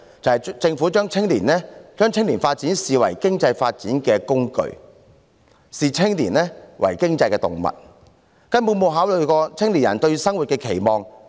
便是政府將青年發展視為經濟發展的工具，視青年為經濟動物，根本沒有考慮過青年人對生活的期望。